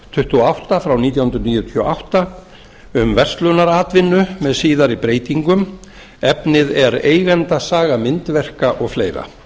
tuttugu og átta nítján hundruð níutíu og átta um verslunaratvinnu með síðari breytingum efnið er eigendasaga myndverka og fleiri